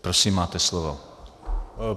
Prosím, máte slovo.